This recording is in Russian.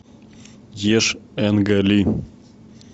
ешь энга ли